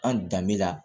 An danbe la